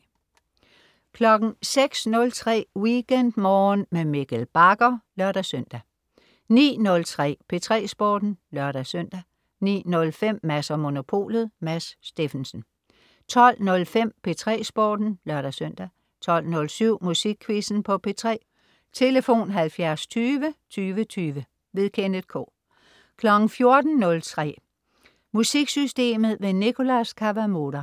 06.03 WeekendMorgen med Mikkel Bagger (lør-søn) 09.03 P3 Sporten (lør-søn) 09.05 Mads & Monopolet. Mads Steffensen 12.05 P3 Sporten (lør-søn) 12.07 Musikquizzen på P3. Tlf.: 70 20 20 20. Kenneth K 14.03 MusikSystemet. Nicholas Kawamura